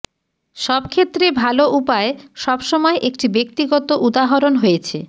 সব ক্ষেত্রে ভাল উপায় সবসময় একটি ব্যক্তিগত উদাহরণ হয়েছে